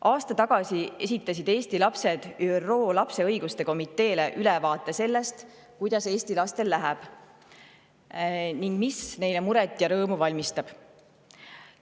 Aasta tagasi esitasid Eesti lapsed ÜRO lapse õiguste komiteele ülevaate selle kohta, kuidas Eesti lastel läheb ning mis neile muret ja rõõmu valmistab.